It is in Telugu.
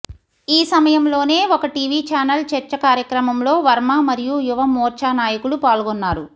ఈ సమయంలోనే ఒక టీవీ ఛానెల్ చర్చ కార్యక్రమంలో వర్మ మరియు యువ మోర్చా నాయకులు పాల్గొన్నారు